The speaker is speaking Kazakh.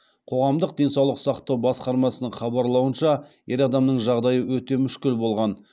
қоғамдық денсаулық сақтау басқармасының хабарлауынша ер адамның жағдайы өте мүшкіл болған